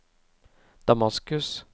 Damaskus